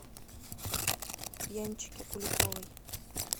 янчике куликовой